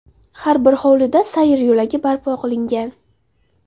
Har bir hovlida sayr yo‘lagi barpo qilingan.